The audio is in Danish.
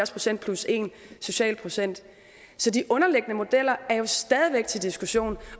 procent plus en social procent så de underliggende modeller er jo stadig væk til diskussion